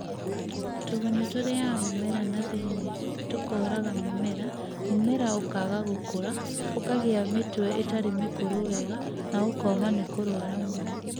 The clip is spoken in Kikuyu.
Tũgunyũ tũrĩaga mũnera na thĩinĩ tũkoraga mĩmera, mũmera ũkaga gũkũra, ũkagĩa mĩtwe ĩtarĩ mĩkũrũ wega na ũkoma nĩkurwarwa mũno